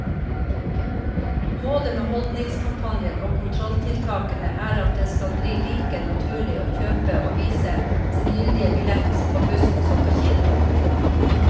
Målet med holdningskampanjen og kontrolltiltakene er at det skal bli like naturlig å kjøpe og vise sin gyldige billett på bussen som på kino.